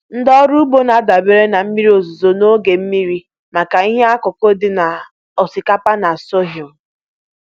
Ndị ọrụ ugbo na-adabere na mmiri ozuzo na oge mmiri maka ihe ihe ọkụkụ dị ka osikapa na sorghum.